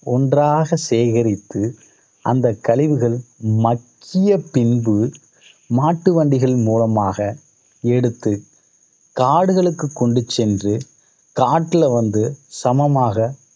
ஒன்றாக சேகரித்து, அந்த கழிவுகள் மக்கிய பின்பு மாட்டு வண்டிகளின் மூலமாக எடுத்து காடுகளுக்கு கொண்டு சென்று காட்டுல வந்து சமமாக